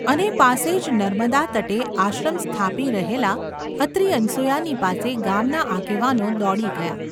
અને પાસે જ નર્મદાતટે આશ્રમ સ્થાપી રહેલાં અત્રિ-અનસૂયાની પાસે ગામના આગેવાનો દોડી ગયા.